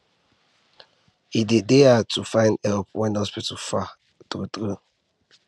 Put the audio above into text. e dey dey hard to find help when hospital far true true